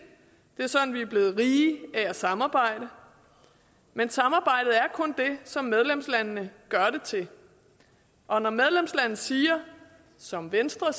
er sådan vi er blevet rige af at samarbejde men samarbejdet er kun det som medlemslandene gør det til og når et medlemsland siger som venstre og